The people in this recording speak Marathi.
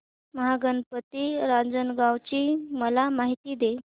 महागणपती रांजणगाव ची मला माहिती दे